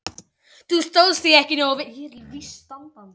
Þú stóðst þig ekki nógu vel.